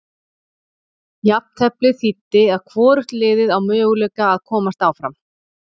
Jafnteflið þýddi að hvorugt liðið á möguleika að komast áfram.